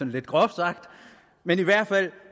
lidt groft sagt men i hvert fald